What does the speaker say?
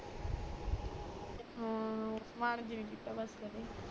ਅਮ ਮਾਨ ਜਾ ਨਾ ਕੀਤੇ ਬਸ ਕਦੇ